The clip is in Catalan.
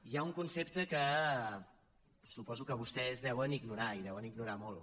hi ha un concepte que suposo que vostès deuen ignorar i el deuen ignorar molt